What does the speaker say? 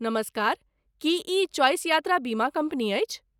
नमस्कार, की ई चॉइस यात्रा बीमा कम्पनी अछि?